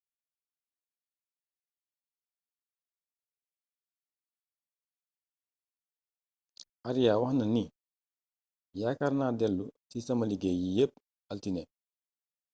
aria waxna ni yaakaar naa dèlo ci sama liggéey yi yépp altiné